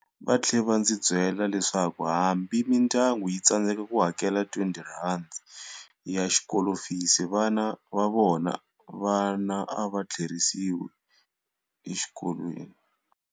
Va tlhela va ndzi byela leswaku hambi mindyangu yi tsandzeka ku hakela R20 ya xikolofisi xa vana va vona, vana a va tlherisiwi exikolweni.